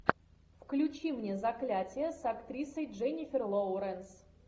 включи мне заклятие с актрисой дженнифер лоуренс